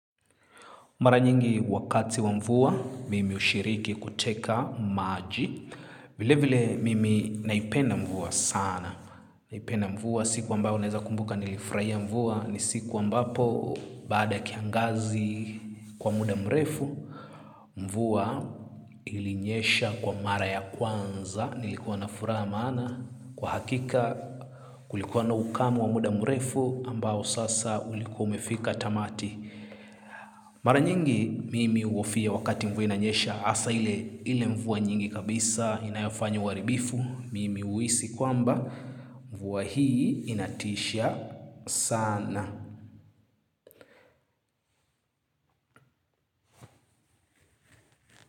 Mara nyingi wakati wa mvua, mimi hushiriki kuteka maji. Vile vile, mimi naipenda mvua sana. Naipenda mvua, siku ambao naweza kumbuka nilifurahia mvua, ni siku ambapo, baada ya kiangazi kwa muda mrefu, mvua ilinyesha kwa mara ya kwanza, nilikuwa na furaha maana. Kwa hakika, kulikuwa na ukame wa muda mrefu, ambao sasa ulikuwa umefika tamati. Mara nyingi mimi huhofia wakati mvua inanyesha hasa ile mvua nyingi kabisa inayofanya uaribifu mimi huhisi kwamba mvua hii inatisha sana.